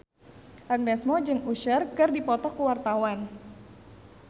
Agnes Mo jeung Usher keur dipoto ku wartawan